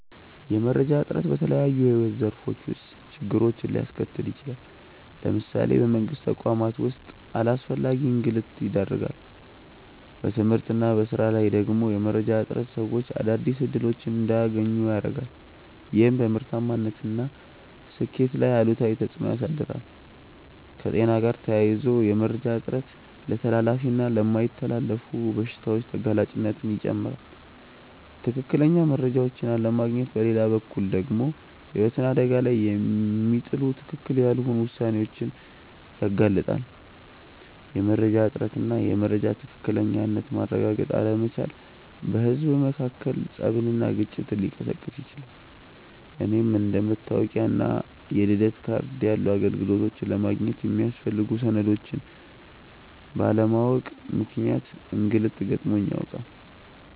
የመረጃ እጥረት በተለያዩ የሕይወት ዘርፎች ውስጥ ችግሮችን ሊያስከትል ይችላል። ለምሳሌ በመንግስት ተቋማት ውስጥ ለአላስፈላጊ እንግልት ይዳርጋል። በትምህርት እና በሥራ ላይ ደግሞ የመረጃ እጥረት ሰዎች አዳዲስ እድሎች እንዳያገኙ ያረጋል፤ ይህም በምርታማነት እና ስኬት ላይ አሉታዊ ተፅእኖ ያሳድራል። ከጤና ጋር ተያይዞ የመረጃ እጥረት ለተላላፊ እና የማይተላለፉ በሽታዎች ተጋላጭነትን ይጨምራል። ትክክለኛ መረጃዎችን አለማግኘት በሌላ በኩል ደግሞ ህይወትን አደጋ ላይ የሚጥሉ ትክክል ያልሆኑ ውሳኔዎችን ያጋልጣል። የመረጃ እጥረት እና የመረጃን ትክክለኝነት ማረጋገጥ አለመቻል በህዝብ መካከል ፀብና ግጭትን ሊቀሰቅስ ይችላል። እኔም አንደ መታወቂያ እና የልደት ካርድ ያሉ አገልግሎቶችን ለማግኘት የሚያስፈልጉ ሰነዶችን ባለማወቅ ምክንያት እንግልት ገጥሞኝ ያውቃል።